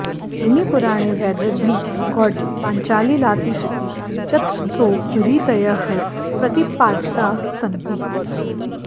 अग्निपुराणे वैदर्भी गौडी पाञ्चालीलातीचीति चतस्रो रीतयः प्रतिपादिताः सन्ति